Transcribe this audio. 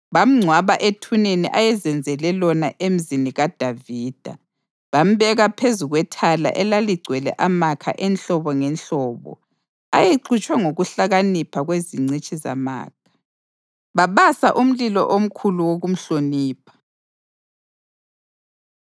Bamngcwaba ethuneni ayezenzele lona eMzini kaDavida. Bambeka phezu kwethala elaligcwele amakha enhlobo ngenhlobo ayexutshwe ngokuhlakanipha kwezingcitshi zamakha, babasa umlilo omkhulu wokumhlonipha.